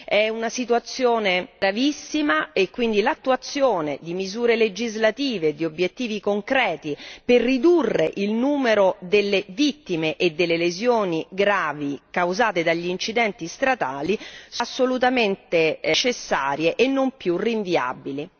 È una situazione gravissima e quindi l'attuazione di misure legislative, di obiettivi concreti per ridurre il numero delle vittime e delle lesioni gravi causate dagli incidenti stradali è assolutamente necessaria e non più rinviabile.